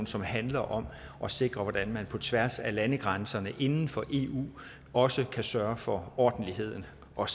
som handler om at sikre hvordan man på tværs af landegrænserne inden for eu også kan sørge for ordentligheden og